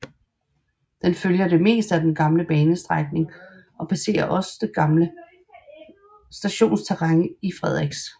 Den følger det meste af den gamle banestrækning og passerer også det gamle stationsterræn i Frederiks